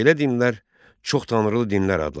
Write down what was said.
Belə dinlər çox tanrılı dinlər adlanır.